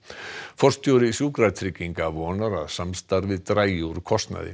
forstjóri Sjúkratrygginga vonar að samstarfið dragi úr kostnaði